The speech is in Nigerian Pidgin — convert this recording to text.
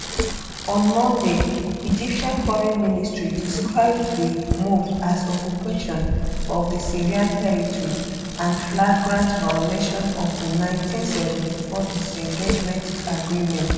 on monday egyptian foreign ministry describe di move as occupation of di syrian territory and flagrant violation of di 1974 disengagement agreement